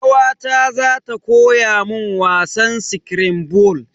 Kawata za ta koya mun wasan skirambul.